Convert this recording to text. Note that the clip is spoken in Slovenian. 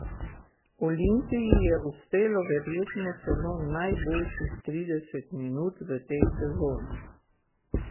Olimpiji je uspelo verjetno celo najboljših trideset minut v tej sezoni.